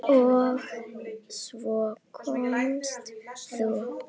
Og svo komst þú!